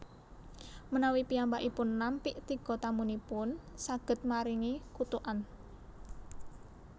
Menawi piyambakipun nampik tiga tamuipun saged maringi kutukan